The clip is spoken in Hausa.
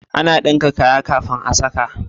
Ana Dinka kaya kafin a saka